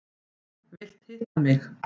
Vilt hitta mig.